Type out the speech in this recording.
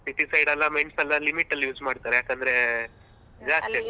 City side ಎಲ್ಲ ಮೆಣ್ಸೆಲ್ಲಾ limit ಅಲ್ಲಿ use ಮಾಡ್ತಾರೆ ಯಾಕಂದ್ರೆ .